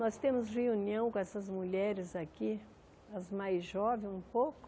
Nós temos reunião com essas mulheres daqui, as mais jovens um pouco.